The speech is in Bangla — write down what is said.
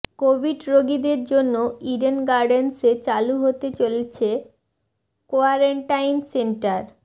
কোভিড রোগীদের জন্য ইডেন গার্ডেন্সে চালু হতে চলেছে কোয়ারেন্টাইন সেন্টার